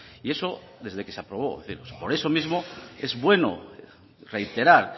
y eso desde que se aprobó por eso mismo es bueno reiterar